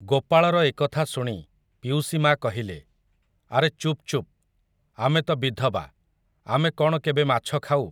ଗୋପାଳର ଏ କଥା ଶୁଣି ପିଉସୀ ମା'କହିଲେ, ଆରେ ଚୁପ୍ ଚୁପ୍, ଆମେ ତ'ବିଧବା, ଆମେ କ'ଣ କେବେ ମାଛ ଖାଉ ।